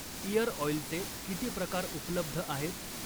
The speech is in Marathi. इअर ऑईलचे किती प्रकार उपलब्ध आहेत?